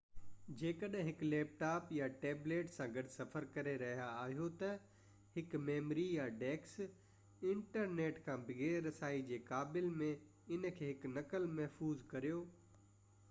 جيڪڏهن هڪ laptop يا ٽيبليٽ سان گڏ سفر ڪري رهيا آهيو ته، هڪ ميموري يا ڊسڪ انٽرنيٽ کان بغير رسائي جي قابل ۾ ان جي هڪ نقل محفوظ ڪريو